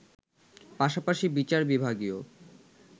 পাশাপাশি বিচার বিভাগীয়